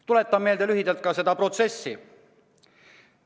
Tuletan lühidalt seda protsessi meelde.